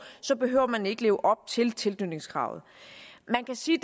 så behøver man ikke at leve op til tilknytningskravet man kan sige